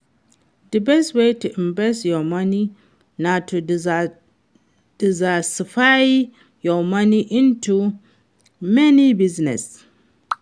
di best way to invest your money na to diversify your money into many businesses.